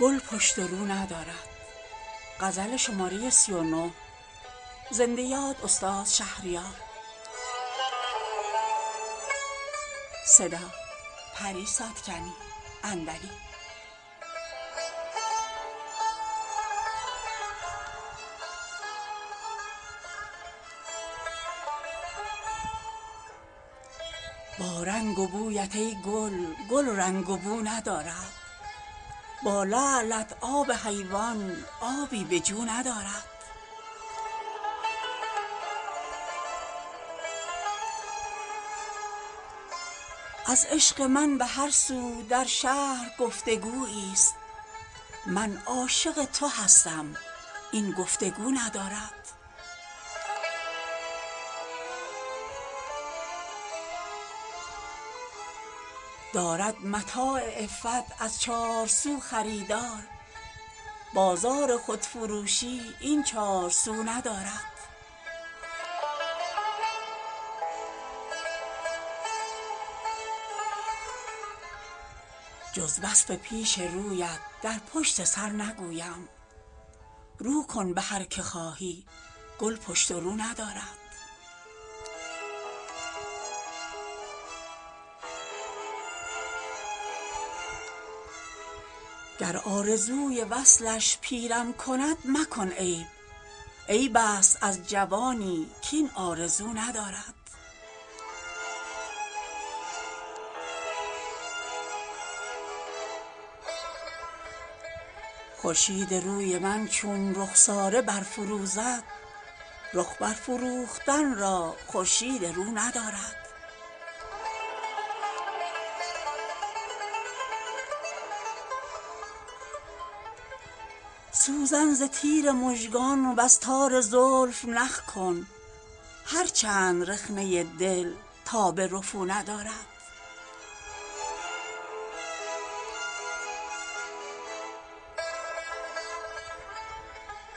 با رنگ و بویت ای گل گل رنگ و بو ندارد با لعلت آب حیوان آبی به جو ندارد از عشق من به هر سو در شهر گفتگویی است من عاشق تو هستم این گفتگو ندارد دارد متاع عفت از چار سو خریدار بازار خودفروشی این چار سو ندارد جز وصف پیش رویت در پشت سر نگویم رو کن به هر که خواهی گل پشت و رو ندارد محراب ابروانت خواند نماز دل ها آری بمیرد آن دل کز خون وضو ندارد گر آرزوی وصلش پیرم کند مکن عیب عیب است از جوانی کاین آرزو ندارد خورشید روی من چون رخساره برفروزد رخ برفروختن را خورشید رو ندارد در تار طره شب تا روی روز بنهفت دل نیست کو تعلق با تار مو ندارد سوزن ز تیر مژگان وز تار زلف نخ کن هر چند رخنه دل تاب رفو ندارد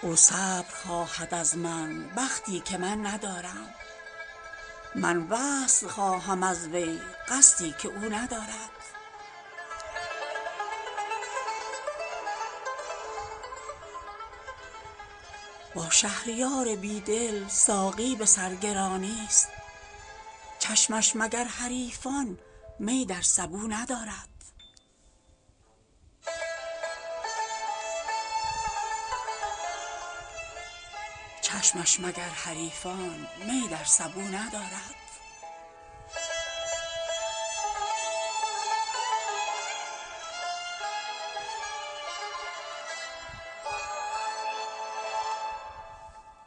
او صبر خواهد از من بختی که من ندارم من وصل خواهم از وی قصدی که او ندارد با شهریار بی دل ساقی به سرگرانی است چشمش مگر حریفان می در سبو ندارد